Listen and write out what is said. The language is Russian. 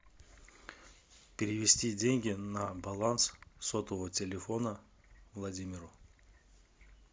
перевести деньги на баланс сотового телефона владимиру